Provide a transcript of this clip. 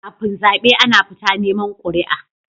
Kafin zabe Ana fita neman quri'a